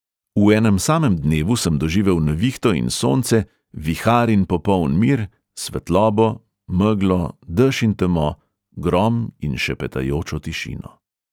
V enem samem dnevu sem doživel nevihto in sonce, vihar in popoln mir, svetlobo, meglo, dež in temo, grom in šepetajočo tišino.